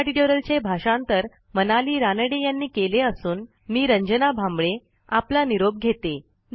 ह्या ट्युटोरियलचे भाषांतर मनाली रानडे यांनी केले असून मी रंजना भांबळे आपला निरोप घेते160